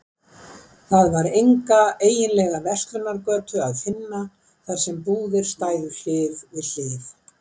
Það var enga eiginlega verslunargötu að finna, þar sem búðir stæðu hlið við hlið.